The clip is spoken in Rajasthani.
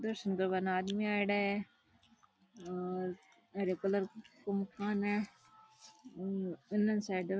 दर्शन कर न आदमी आईडा है और हरे कलर को मकान है उन साइड में --